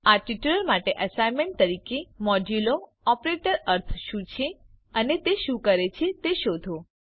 આ ટ્યુટોરીયલ માટે એસાઈનમેન્ટ તરીકે મોડ્યૂલો ઓપરેટરનો અર્થ શું છે અને તે શું કરે છે તે શોધો